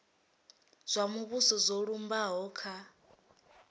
zwa muvhuso zwo lumbaho kha